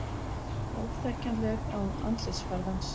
Óþekkjanleg án andlitsfarðans